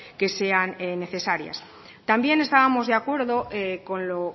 que sean necesarias también estábamos de acuerdo con lo